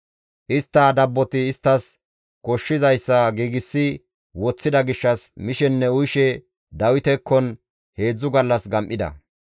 Istta dabboti isttas koshshizayssa giigsi woththida gishshas mishenne uyishe Dawitekkon heedzdzu gallas gam7ida.